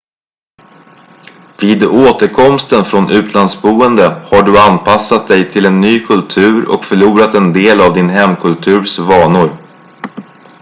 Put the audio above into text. vid återkomsten från utlandsboende har du anpassat dig till en ny kultur och förlorat en del av din hemkulturs vanor